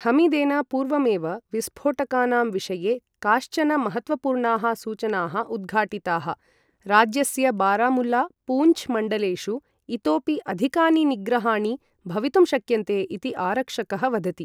हमीदेन पूर्वमेव विस्फोटकानां विषये काश्चन महत्त्वपूर्णाः सूचनाः उद्घाटिताः, राज्यस्य बारामुल्ला, पूञ्छ् मण्डलेषु इतोपि अधिकानि निग्रहाणि भवितुं शक्यन्ते इति आरक्षकः वदति।